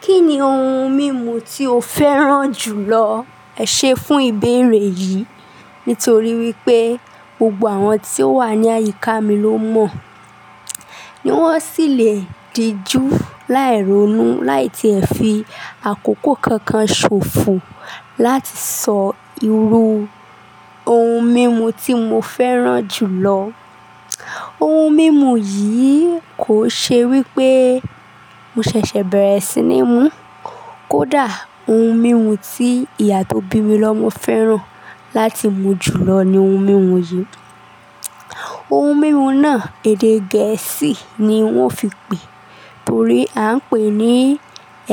Kí ni oun mímu tí o fẹ́ràn jù lọ ẹ ṣe fún ìbéèrè yìí nítorí wípé gbogbo àwọn tí ó wà ní àyíká mi ló mọ̀ ní wọ́n sì lè di jú láì ronú láì tí ẹ fi àkókò kankan ṣòfò láti sọ irú oun mímu tí mo fẹ́ràn jù lọ. Oun mímu yìí kò ṣe wípé mo ṣẹ̀ṣẹ̀ bẹ̀rẹ̀ sí ní mú kódà oun mímu tí ìyá tó bí mi lọ mo fẹ́ràn láti mú jù lọ ni oun mímu yìí. Oun mímu náà èdè Gẹ̀ẹ́sì ni wọ́n fi pè torí à ń pè é ní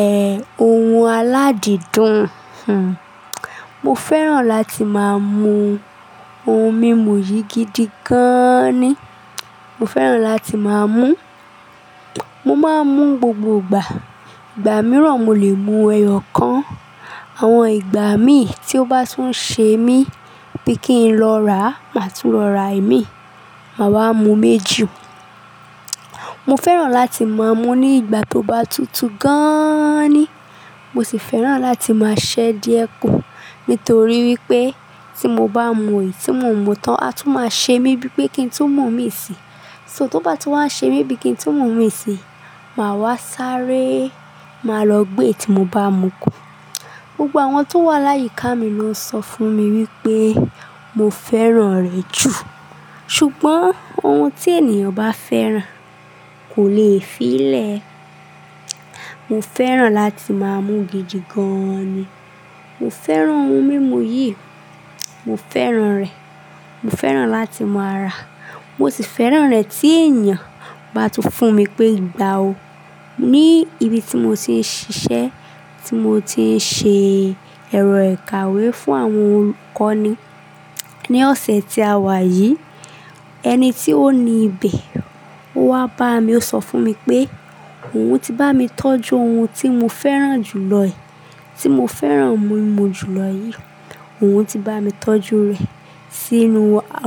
ẹ, oun aládìdùn. Hhn. Mo fẹ́ràn láti máa mú oun mímu yìí gidi gan-an ni. Mo fẹ́ràn láti máa mú. Mo máa ń mú gbogbo ìgbà. Ìgbà mìíràn mo lè mu ẹyọ kan. Àwọn ìgbà mi tí ó bá tún ṣe mí bí kí n lọ rà á, màá tún lọ rà ẹ́ mi, màá wá mú méjì. Mo fẹ́ràn láti máa mú ní ìgbà tó bá tútù gan-an ni. Mo sì fẹ́ràn láti máa ṣẹ́ díẹ̀ kù nítorí wípé tí mo bá mu èyí tí mo ń mú tán a tún máa ṣe mí bí pé kí n tún mú mí sì. So tó bá ti wá ń ṣe mí bí i kí n tún mú mí sì, màá wá sáré, màá lọ gbé èyí tí mo bá mu kù. Gbogbo àwọn tó wà láyíká mi ló sọ fún mi wípé mo fẹ́ràn rẹ̀ jù. Ṣùgbọ́n oun tí ènìyàn bá fẹ́ràn kò le fi lè. Mo fẹ́ràn láti máa mú gidi gan-an ni. Mo fẹ́ràn oun mímu yìí, mo fẹ́ràn rẹ̀. Mo fẹ́ràn láti máa ràá. Mo sì fẹ́ràn rẹ̀ tí ènìyàn bá tún fún mi pé "Gba o". Ní ibi tí mo ti ń ṣiṣẹ́, tí mo ti ń ṣe ẹ̀rọ ìkàwé fún àwọn olùkọ́ ni. Ni ọ̀sẹ̀ tí a wá yìí, ẹni tí ó ni ibẹ̀ owá bá mi, ó sọ fún mi pé, "Òun ti bá mi tọ́jú oun tí mo fẹ́ràn jù lọ ẹ, tí mo fẹ́ràn mímu jù lọ yìí. Òun ti bá mi tọ́jú rẹ̀ sínú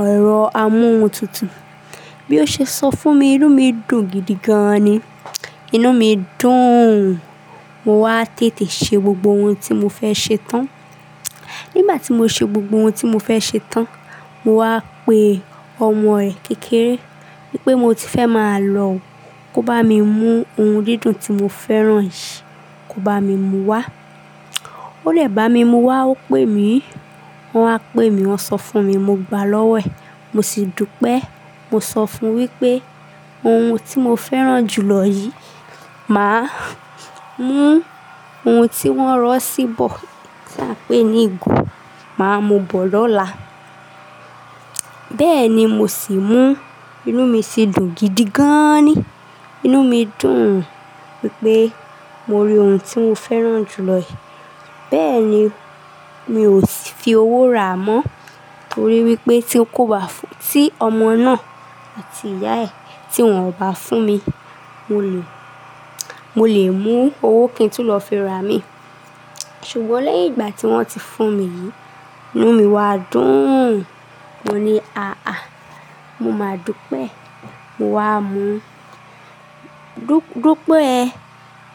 ẹ̀rọ amóhun tútù." Bí ó ṣe sọ fún mi, inú mi dùn gidi gan-an ni. Inú mi dùn. Mo wá tètè ṣe gbogbo oun tí mo fẹ́ ṣe tán. Nígbà tí mo ṣe gbogbo oun tí mo fẹ́ ṣe tán, mo wá pe ọmọ ẹ̀ kékeré wípé mo ti fẹ́ máa lọ, kó bá mi mú oun dídùn tí mo fẹ́ràn yìí, kó bá mi mú wá. Ó dè bá mi mú wá, ó pè mí. Wọ́n á pè mí, wọ́n sọ fún mi, mo gbá lọ́wọ́ ẹ̀. Mo sì dúpẹ́. Mo sọ fún un wípé oun tí mo fẹ́ràn jù lọ yìí, màá mú oun tí wọ́n rọ́ síbò tí à ń pè ní ìgò, màá mú bọ̀ lọ́la. Bẹ́ẹ̀ ni mo sì mú. Inú mi sì dùn gidi gan-an ni. Inú mi dùn wípé mo rí oun tí mo fẹ́ràn jù lọ yì. Bẹ́ẹ̀ ni, mi ò fi owó rà á mọ́ torí wípé tí kò bá fún, tí ọmọ náà àti ìyá ẹ tí wọ́n ò bá fún mi, mo lè, mo lè mú owó kí n tún lọ fi ra mí. Ṣùgbọ́n lẹ́yìn ìgbà tí wọ́n ti fún mi yìí, inú mi wá dùn. Mo ní àáà, mo máa dúpẹ́. Mo wá mú. Dúpẹ́ ẹ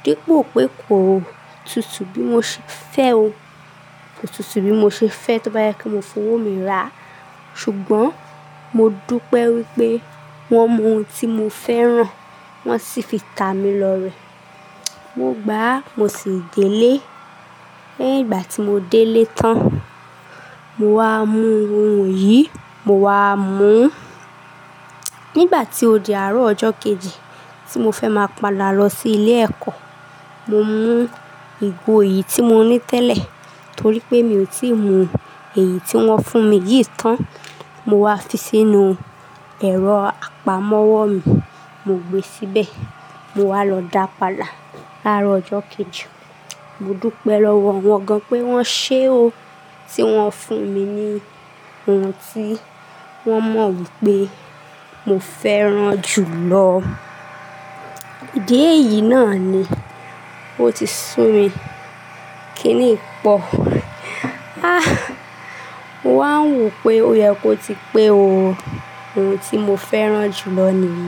dípò pé kò tútù bí mo ṣe fẹ́ o. Kò tútù bí mo ṣe fẹ́ tó bá jẹ́ pek mo fi owó mi rà. Ṣùgbọ́n mo dúpẹ́ wípé wọn mú oun tí mo fẹ́ràn, wọ́n sì fi tà mí lọ rẹ̀. Mo gbá, mo sì dé lé. Lẹ́yìn ìgbà tí mo dé lé tán, mo wá mú oun yìí, mo wá mú. Nígbà tí ó di àárọ̀ ọjọ́ kejì tí mo fẹ́ máa pa là lọ sí ilé ẹ̀kọ́, mo mú ìgò yìí tí mo ní tẹ́lẹ̀ torí pé mi ò tí ì mu èyí tí wọ́n fún mi yìí tán. Mo wá fi sínú ẹ̀rọ apamọ́wọ́ mi. Mo gbé síbẹ̀. Mo wá lọ dá pa dà láàárọ̀ ọjọ́ kejì. Mo dúpẹ́ lọ́wọ́ wọn gan-an pé wọ́n ṣe o. Tí wọ́n fún mi ni oun tí wọ́n mọ wípé mo fẹ́ràn jù lọ. Ìdí èyí náà ni ó ti sú mi. Kí ni yì pọ̀. Ah! Mo wàá n wo pé ó yẹ kó ti pé o. Oun tí mo fẹ́ràn jù lọ ni yìí.